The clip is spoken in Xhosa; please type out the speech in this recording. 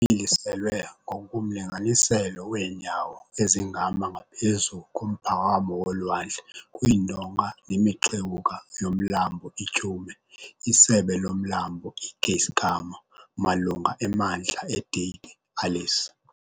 Imiliselwe ngokomlinganiselo weenyawo ezingama ngaphezu komphakamo wolwandle kwiindonga nemixewuka yoMlambo iTyhume, isebe loMlambo iKeiskamma, malunga emantla eDike, Alice.